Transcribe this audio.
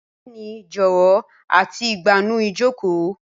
Bẹẹni jọwọ ati igbanu ijoko.